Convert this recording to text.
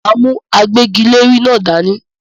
M á mú agbẹ́giléèrè náà dání.